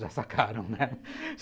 Já sacaram, né?